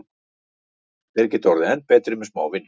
Þeir geta orðið enn betri með smá vinnu.